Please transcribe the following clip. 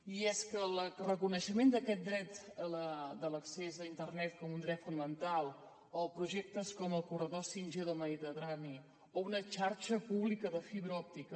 i és que el reconeixement d’aquest dret de l’accés a internet com un dret fonamental o projectes com el corredor 5g del mediterrani o una xarxa pública de fibra òptica